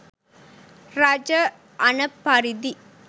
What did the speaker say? රජ අණ පරිදි